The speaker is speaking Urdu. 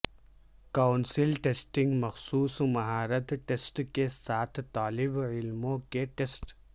کونسل ٹیسٹنگ مخصوص مہارت ٹیسٹ کے ساتھ طالب علموں کے ٹیسٹ